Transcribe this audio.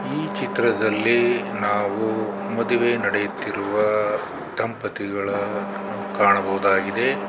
ಈ ಚಿತ್ರದಲ್ಲಿ ನಾವು ಮದುವೆ ನೆಡೆಯುತ್ತಿರುವ ದಂಪತಿಗಳ ನ್ನು ಕಾಣಬಹುದಾಗಿದೆ.